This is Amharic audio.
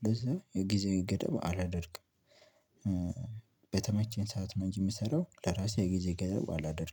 ስለዚህ የጊዜው ገደብ አላደርግም። በተመቸኝ ሰዓት ነው እንጂ የምሰራው ለራሴ ጊዜ ገደብ አላደርግም